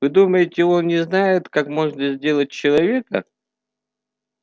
вы думаете он не знает как можно сделать человека